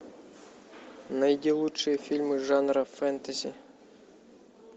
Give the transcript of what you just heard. найди лучшие фильмы жанра фэнтези